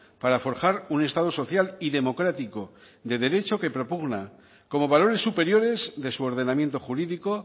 para forjar un estado social y democrático de derecho que propugna como valores superiores de su ordenamiento jurídico